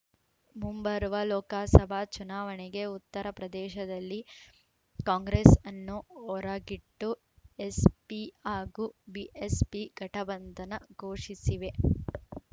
ಮುಂಬರುವ ಲೋಕಸಭಾ ಚುನಾವಣೆಗೆ ಉತ್ತರ ಪ್ರದೇಶದಲ್ಲಿ ಕಾಂಗ್ರೆಸ್‌ ಅನ್ನು ಹೊರಗಿಟ್ಟು ಎಸ್‌ಪಿ ಹಾಗೂ ಬಿಎಸ್‌ಪಿ ಗಠಬಂಧನ ಘೋಷಿಸಿವೆ